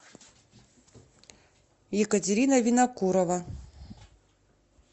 екатерина винокурова